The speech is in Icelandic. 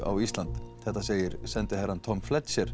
á Ísland þetta segir sendiherrann Tom